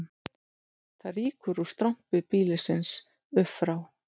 Það rýkur úr strompi býlisins upp frá